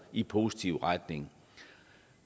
i positiv retning